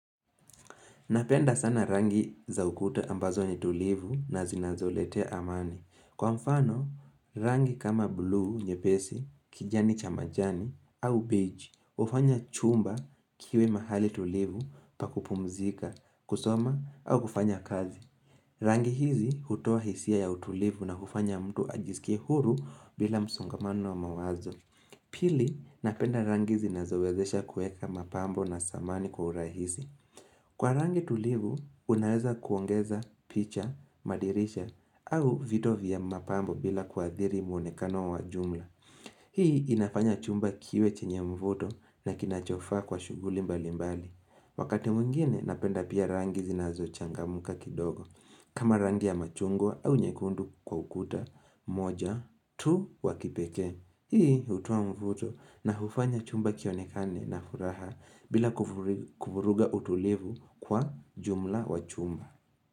Napenda sana rangi za ukuta ambazo ni tulivu na zinazoletea amani. Kwa mfano, rangi kama blue nyepesi, kijani cha majani, au beige, hufanya chumba kiwe mahali tulivu pakupumzika, kusoma, au kufanya kazi. Rangi hizi hutoa hisia ya utulivu na kufanya mtu ajisikia huru bila msungamano wa mawazo. Pili, napenda rangi zinazowezesha kueka mapambo na samani kwa urahisi. Kwa rangi tulivu, unaeza kuongeza, picha, madirisha, au vitu vya mapambo bila kuadhiri muonekano wa jumla. Hii inafanya chumba kiwe chenye mvuto na kinachofaa kwa shuguli mbali mbali. Wakati mwingine, napenda pia rangi zinazochangamka kidogo. Kama rangi ya machungwa au nyekundu kwa ukuta, moja, tu wakipekee. Hii hutoa mvuto na hufanya chumba kionekane na furaha bila kufuruga utulivu kwa jumla wa chumba.